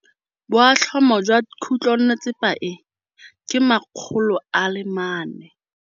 Boatlhamô jwa khutlonnetsepa e, ke 400.